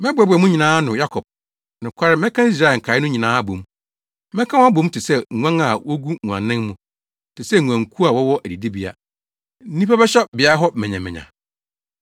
“Mɛboaboa mo nyinaa ano Yakob; nokware mɛka Israel nkae no nyinaa abɔ mu. Mɛka wɔn abɔ mu te sɛ nguan a wogu nguannan mu, te sɛ nguankuw a wɔwɔ adidibea; nnipa bɛhyɛ beae hɔ manyamanya.